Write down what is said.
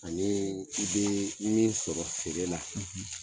Ani i bɛ min sɔrɔ feere la, .